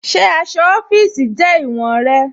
Ṣe aṣọ ọfiisi jẹ iwọ̀n rẹ̀?